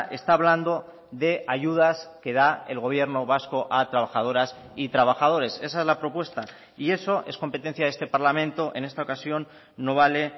está hablando de ayudas que da el gobierno vasco a trabajadoras y trabajadores esa es la propuesta y eso es competencia de este parlamento en esta ocasión no vale